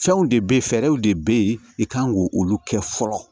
Fɛnw de bɛ ye fɛɛrɛw de bɛ ye i kan k'o olu kɛ fɔlɔ